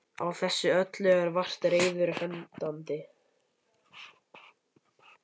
Á þessu öllu eru vart reiður hendandi.